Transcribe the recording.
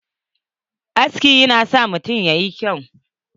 Aski yana sa mutum yayi kyau.